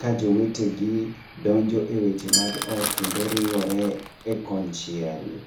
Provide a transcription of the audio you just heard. ka jowete gi donjo e weche mag ot kendo riwore e konchiel.